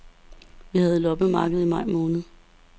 Vi havde loppemarked i maj måned.